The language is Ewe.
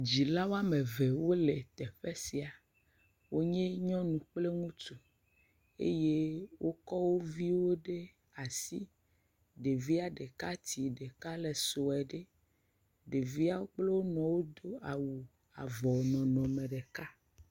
Dzila woame eve wole teƒe sia, wonye nyɔnu kple ŋutsu eye wokɔ wo viwo ɖe asi, ɖevia tsi ɖeka le sue ɖe, ɖeviawo kple wo nɔwo wodo awu avɔ nɔnɔme ɖeka.